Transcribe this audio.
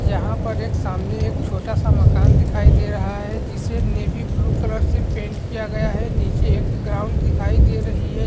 यहाँ पर एक सामने एक छोटा-सा मकान दिखाई दे रहा है जिसे नेवीब्लू कलर से पेंट किया है नीचे एक ग्राउंड दिखाई दे रही है।